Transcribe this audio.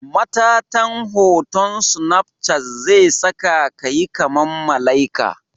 Matatan hoton snapchat zesakayi kaman malaika.